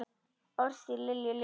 Orðstír Lilju lifir.